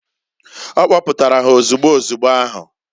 O kpoputara ha ozugbu ozugbo ahu.